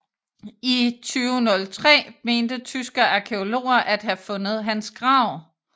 I 2003 mente tyske arkæologer at have fundet hans grav